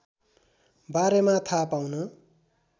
बारेमा थाहा पाउन